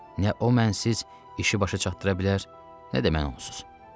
Nə o mənsiz işi başa çatdıra bilər, nə də mən onsuz.